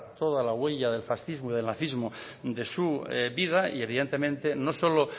toda la huella del fascismo y del nazismo de su vida y evidentemente no solo